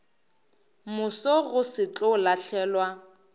moso go se tlo lahlelwa